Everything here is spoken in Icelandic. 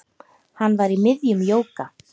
Hann var í miðjum jóga